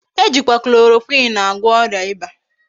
Ejikwa chloroquine agwo oria iba